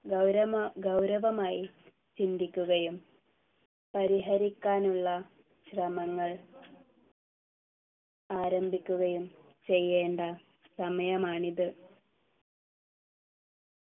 ഗൗരമ ഗൗരവമായി ചിന്തിക്കുകയും പരിഹരിക്കാനുള്ള ശ്രമങ്ങൾ ആരംഭിക്കുകയും ചെയ്യേണ്ട സമയമാണിത്